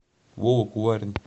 вова куварин